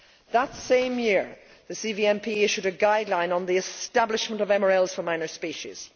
That same year, the CVMP issued a guideline on the establishment of MRLs for minor species.